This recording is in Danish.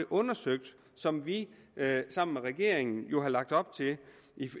undersøgt det som vi sammen med regeringen jo lagt op til